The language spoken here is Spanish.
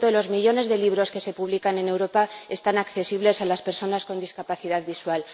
de los millones de libros que se publican en Europa son accesibles para las personas con discapacidad visual—.